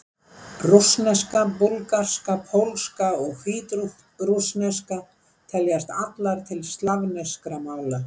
Rússneska, búlgarska, pólska og hvítrússneska teljast allar til slavneskra mála.